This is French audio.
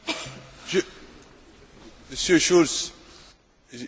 Monsieur Schulz, j'ai aussi entendu votre question.